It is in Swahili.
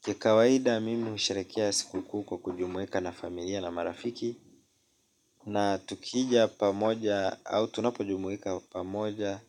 Kikawaida mimi husherekea siku kuu kujumuika na familia na marafiki. Na tukija pamoja au tunapojumuika pamoja